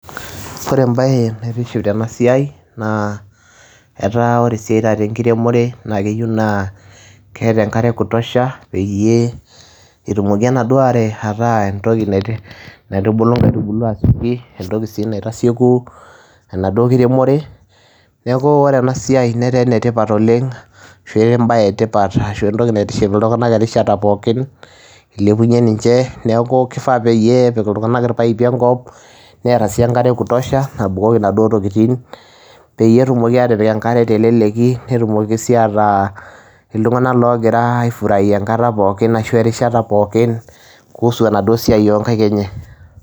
Kore embaye naitiship tena siai naa etaa kore esiai taata enkiremore naake eyiu naa keeta enkare e kutosha peyie etumoki enaduo are ataa entoki naiti naitubulu nkaitubulu asioki entoki sii naitasieku enaduo kiremore. Neeku ore ena siai netaa ene tipat oleng' ashu embaye e tipat ashu entoki naitiship iltung'anak erishata pookin ilepunye ninje, neeku kifaa peyie epik iltung'anak irpaipi enkop netaa sii enkare e kutosha nabukoki naduo tokitin peyie etumoki aatipik enkare teleleki, netumoki sii ataa iltung'anak loogira aifuraia enkata pookin ashu erishata pookin kuhusu enaduo siai o nkaek enye.